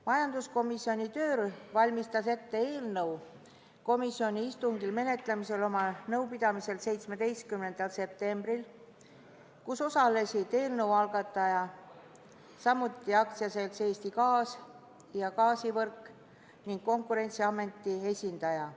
Majanduskomisjoni töörühm valmistas ette eelnõu komisjoni istungil menetlemist oma nõupidamisel, mis toimus 17. septembril ja kus osalesid eelnõu algataja, samuti AS-i Eesti Gaas ja AS-i Gaasivõrk ning Konkurentsiameti esindajad.